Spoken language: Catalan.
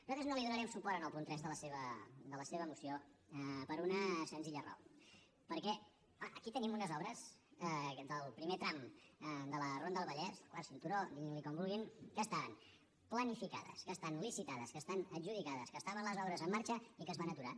nosaltres no li donarem suport en el punt tres de la seva moció per una senzilla raó perquè clar aquí tenim unes obres del primer tram de la ronda del vallès el quart cinturó diguin ne com vulguin que estan planificades que estan licitades que estan adjudicades que estaven les obres en marxa i que es van aturar